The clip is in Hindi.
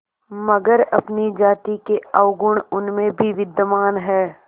मगर अपनी जाति के अवगुण उनमें भी विद्यमान हैं